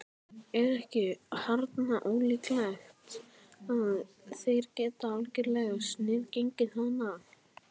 Er ekki harla ólíklegt að þeir geti algerlega sniðgengið hann?